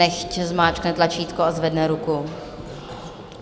Nechť zmáčkne tlačítko a zvedne ruku.